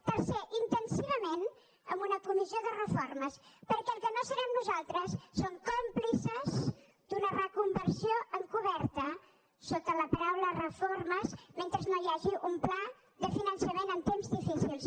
tercer intensivament en una comissió de reformes perquè el que no serem nosaltres és còmplices d’una reconversió encoberta sota la paraula reformes mentre no hi hagi un pla de finançament en temps difícils